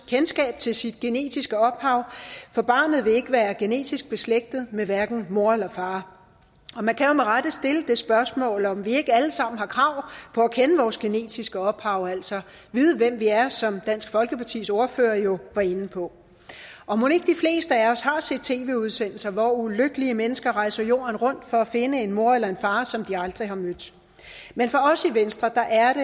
kendskab til sit genetiske ophav for barnet vil ikke være genetisk beslægtet med hverken mor eller far og man kan rette stille det spørgsmål om vi ikke alle sammen har krav på at kende vores genetiske ophav altså vide hvem vi er som dansk folkepartis ordfører jo var inde på og mon ikke de fleste af os har set tv udsendelser hvor ulykkelige mennesker rejser jorden rundt for at finde en mor eller en far som de aldrig har mødt men for os i venstre er